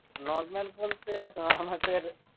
normal বলতে আমাদের